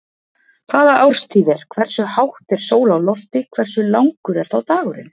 Hvaða árstíð er, hversu hátt er sól á lofti, hversu langur er þá dagurinn?